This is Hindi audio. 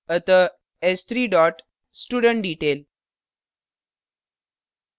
अतः s3 dot studentdetail